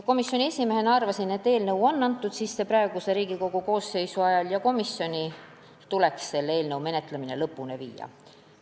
Komisjoni esimehena arvasin, et kuna eelnõu on antud sisse praeguse Riigikogu koosseisu ajal, siis tuleks komisjonil selle menetlemine lõpuni viia.